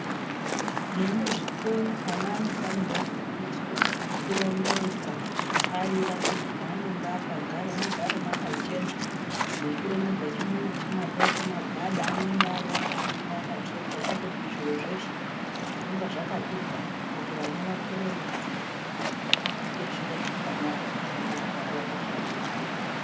Nemuzvikora ana anofanirwa kufundiswe kurongedza kutsvaira kuti paanenge akagara mugare mwakachena nekurongedza chimwe nachimwe akaite magwada anenge ariwo paanenge akatsvetwa kwete kuti zvinhu zveshe zvinenge zvakati vharara kuti vana vakure veiziye kuite zviro zvakanaka nekugara vakashambidzika.